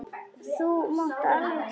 Þú mátt alveg trúa mér!